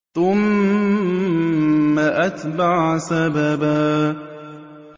ثُمَّ أَتْبَعَ سَبَبًا